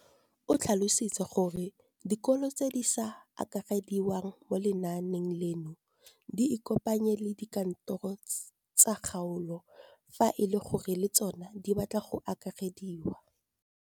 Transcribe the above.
O tlhalositse gore dikolo tse di sa akarediwang mo lenaaneng leno di ikopanye le dikantoro tsa kgaolo fa e le gore le tsona di batla go akarediwa.